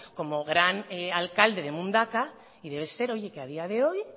como gran alcalde de mundaka y debe ser que a día de hoy